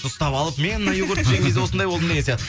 ұстап алып мен мына йогуртты жеген кезде осындай болдым деген